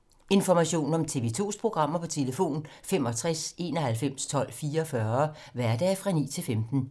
Information om TV 2's programmer: 65 91 12 44, hverdage 9-15.